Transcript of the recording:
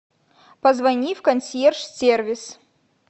позвони в консьерж сервис